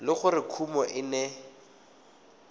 le gore kumo e ne